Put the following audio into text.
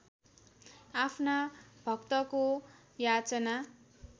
आफ्ना भक्तको याचना